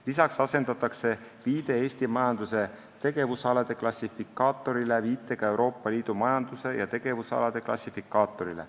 Lisaks asendatakse viide Eesti majanduse tegevusalade klassifikaatorile viitega Euroopa Liidu majanduse ja tegevusalade klassifikaatorile.